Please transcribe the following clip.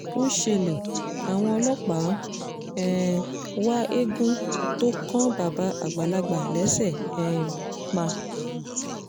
ó ṣẹlẹ̀ àwọn ọlọ́pàá ń um wá eegun tó kan bàbá àgbàlagbà lẹ́sẹ̀ẹ́ um pa